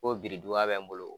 Ko birintuba bɛ n bolo